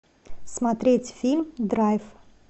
смотреть фильм драйв